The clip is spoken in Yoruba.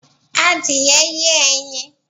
Adìẹ ye ẹyin